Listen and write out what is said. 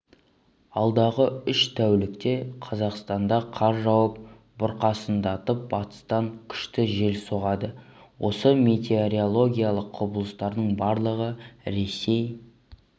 алдағы үш тәулікте қазақстанда қар жауып бұрқасындатып батыстан күшті жел соғады осы метеорологиялық құбылыстардың барлығы ресей